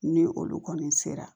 Ni olu kɔni sera